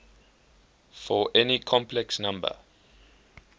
for any complex number